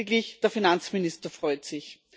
Lediglich der Finanzminister freut sich.